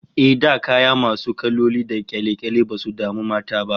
Eh, da kaya masu kaloli da kyale-kyale basu damu mata ba